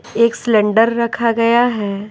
एक सिलेंडर रखा गया है।